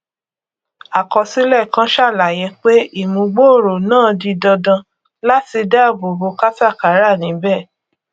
àkọsílẹ kan sàlàyé pé ìmúgbòòrò náà di dandan láti dáàbò bo katakara níbẹ